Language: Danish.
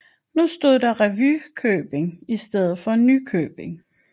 Nu stod der Revykøbing i stedet for Nykøbing